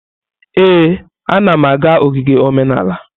Ee, anam aga ogige omenala.